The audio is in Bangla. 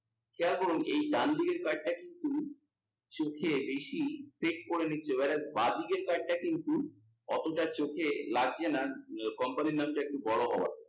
খেয়াল করুন এই ডানদিকের card টা কিন্তু বেশি করে নিচ্ছে, এবার বাঁদিকের card টা কিন্তু অতটা চোখে লাগছে না। company র নাম টা একটু বোরো হওয়া চাই।